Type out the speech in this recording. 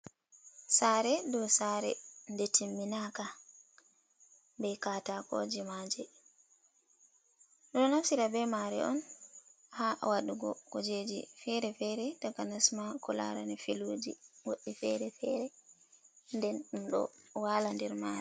Saare dow saere nde timminaka be katakoji maje, ɗo naftira be mare on haa wadugo kujeji feere-feere taka nasma ko larani feluji goɗɗi feere-feere, nden ɗum ɗo wala der mare.